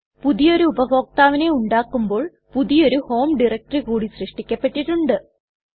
പുതിയൊരു ഉപഭോക്താവിനെ ഉണ്ടാക്കുമ്പോൾ പുതിയൊരു ഹോം ഡയറക്ടറി കൂടി സൃഷ്ടിക്കപ്പെട്ടിട്ട്ണ്ട്